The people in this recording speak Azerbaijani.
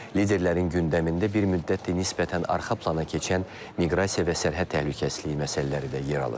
Liderlərin gündəmində bir müddətdir nisbətən arxa plana keçən miqrasiya və sərhəd təhlükəsizliyi məsələləri də yer alır.